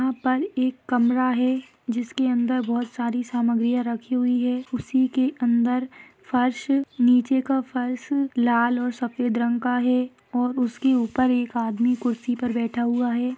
यहाँ पर एक कमरा है जिसके अंदर बहुत सारी सामग्रिया रखी हुई है उसीके अंदर फर्श निचे का फर्श लाल और सफ़ेद रंग का है और उसके ऊपर एक आदमी कुर्सी पर बैठा हुआ है।